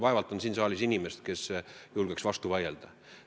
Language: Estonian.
Vaevalt on siin saalis inimest, kes julgeks sellele vastu vaielda.